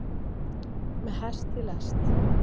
Með hest í lest